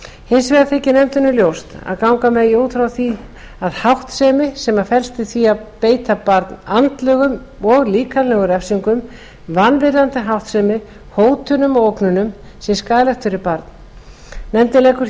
hins vegar þykir nefndinni ljóst að ganga megi út frá því að háttsemi sem felst í því að beita barn andlegum og líkamlegum refsingum vanvirðandi háttsemi hótunum og ógnunum sé skaðleg fyrir barn nefndin leggur því